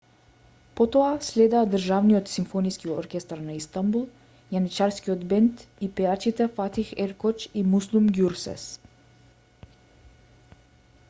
потоа следеа државниот симфониски оркестар на истанбул јаничарскиот бенд и пејачите фатих еркоч и муслум ѓурсес